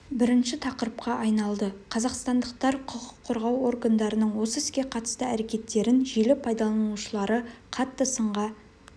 бірінші тақырыпқа айналды қазақстандықтар құқық қорғау органдарының осы іске қатысты әрекеттерін желі пайдаланушылары қатты сынға